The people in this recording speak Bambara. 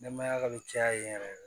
Nɛmaya ka caya yen yɛrɛ yɛrɛ